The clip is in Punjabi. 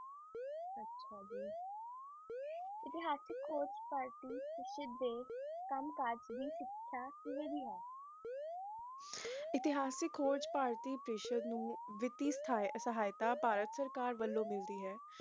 ਇਤਿਹਾਸਿਕ ਖੋਜ ਪਾਰਟੀ ਦੀ ਸ਼ਿਕ੍ਸ਼ਾ ਕਿਵੇਂ ਮਿਲਦੀ ਹੈ ਖੋਜ ਪਾਰਟੀ ਨੂੰ ਸ਼ਿਕ੍ਸ਼ਾ ਦੇਸ਼ ਬਾਰੇ ਮਿਲਦੀ ਹੈ